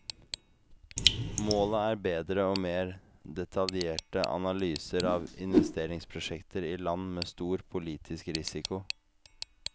Målet er bedre og mer detaljerte analyser av investeringsprosjekter i land med stor politisk risiko.